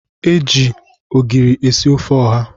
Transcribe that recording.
Ee, e ji ogiri esi ofe ọha